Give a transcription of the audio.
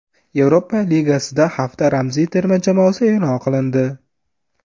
Yevropa Ligasida hafta ramziy terma jamoasi e’lon qilindi.